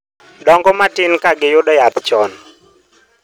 dongo matin ka giyudo yath chon